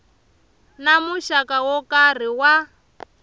na muxaka wo karhi wa